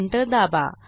Enter दाबा